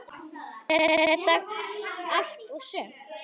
Er þetta allt og sumt?